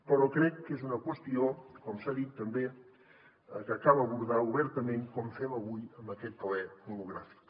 però crec que és una qüestió com s’ha dit també que cal abordar obertament com fem avui amb aquest ple monogràfic